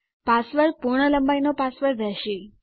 password પૂર્ણ લંબાઈનો password રહેશે